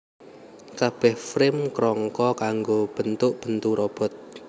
Kabeh Frame krangka kanggo bentuk bentu robot